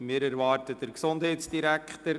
Wir erwarten den Gesundheitsdirektor.